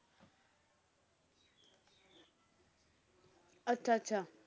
ਅੱਛਾ ਅੱਛਾ।